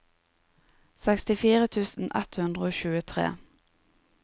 sekstifire tusen ett hundre og tjuetre